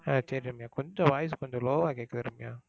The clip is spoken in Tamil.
ஹம் சரி ரம்யா. கொஞ்சம் voice கொஞ்சம் low வா கேக்குது ரம்யா.